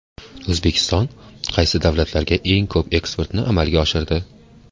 O‘zbekiston qaysi davlatlarga eng ko‘p eksportni amalga oshirdi?.